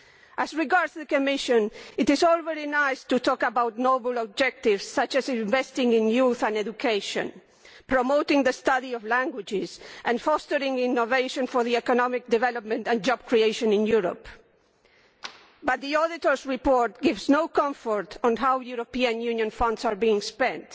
As regards the Commission, it is all very nice to talk about noble objectives such as investing in youth and education, promoting the study of languages and fostering innovation for economic development and job creation in Europe, but the Auditors' report gives no comfort on how European Union funds are being spent,